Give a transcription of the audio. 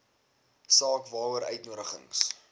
saak waaroor uitnodigings